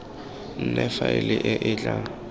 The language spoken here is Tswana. nne faele e e tla